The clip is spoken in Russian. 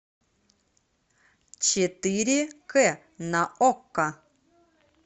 четыре к на окко